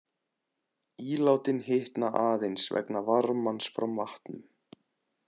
Ílátin hitna aðeins vegna varmans frá matnum.